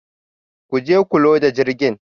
Ku je ku loda jirgin